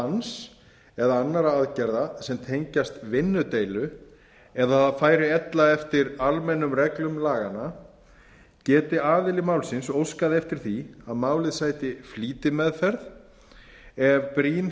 verkbanns eða annarra aðgerða sem tengjast vinnudeilu eða færi ella eftir almennum reglum laganna geti aðili málsins óskað eftir því að málið sæti flýtimeðferð ef brýn